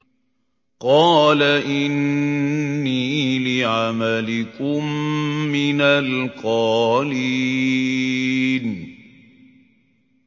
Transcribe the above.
قَالَ إِنِّي لِعَمَلِكُم مِّنَ الْقَالِينَ